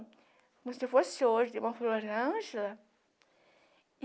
Como se fosse hoje dona florângela.